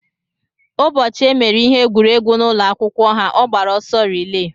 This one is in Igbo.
Ụbọchị emere ihe egwuregwu n'ụlọ akwụkwọ ha, ọ gbara ọsọ rilee.